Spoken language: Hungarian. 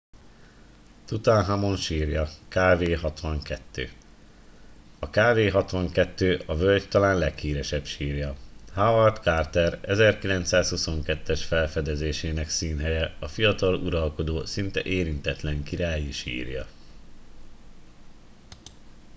tutanhamon sírja kv 62. a kv 62 a völgy talán leghíresebb sírja. howard carter 1922-es felfedezésének színhelye a fiatal uralkodó szinte érintetlen királyi sírja